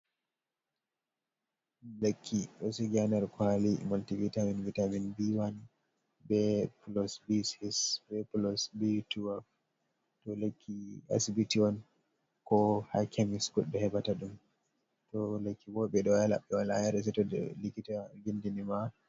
Lekki ɗo sigi ha nder kwaali moltivitamin, vitamin B1, be plos B6, be plos B12. Ɗo lekki asbiti on, ko ha kemis goɗɗo heɓata ɗum. To lekki bo ɓe wala yare seto likita vindini ma.